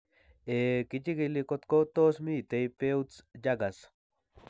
Ehee kichig'ile kotko tos mito Peutz Jeghers